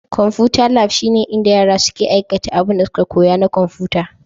Konfuta lab shine inda yara suke aikata abinda suka koya na konfuta.